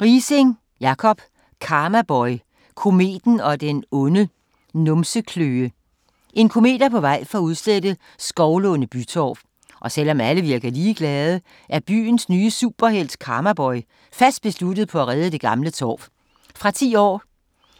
Riising, Jacob: Karmaboy - kometen og den onde numsekløe En komet er på vej for at udslette Skovlunde Bytorv, og selvom alle virker ligeglade, er byens nye superhelt Karmaboy fast besluttet på at redde det gamle torv. Fra 10 år.